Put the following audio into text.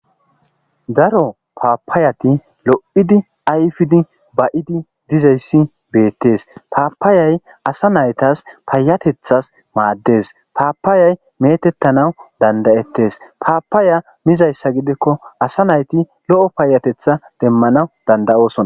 daro paapaayati lo7idi ayfidi ba7idi dizayssi beettes paapaayay asa naytas payatethas maaddes paapaayay metettanawu dandayettes paapaaya mizayssa gidikko asa nayti lo7o paayatetha demmanaw dandayosona